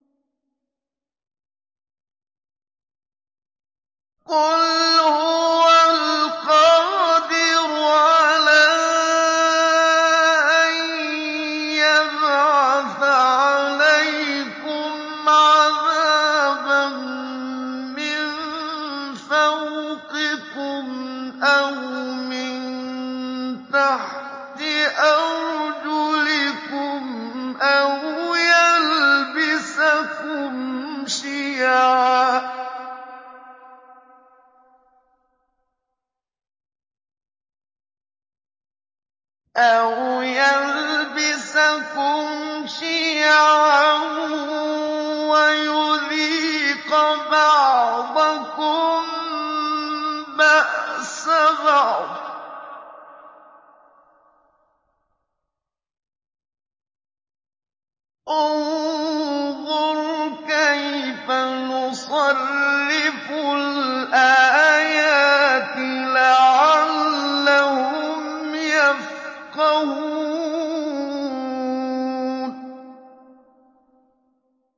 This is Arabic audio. قُلْ هُوَ الْقَادِرُ عَلَىٰ أَن يَبْعَثَ عَلَيْكُمْ عَذَابًا مِّن فَوْقِكُمْ أَوْ مِن تَحْتِ أَرْجُلِكُمْ أَوْ يَلْبِسَكُمْ شِيَعًا وَيُذِيقَ بَعْضَكُم بَأْسَ بَعْضٍ ۗ انظُرْ كَيْفَ نُصَرِّفُ الْآيَاتِ لَعَلَّهُمْ يَفْقَهُونَ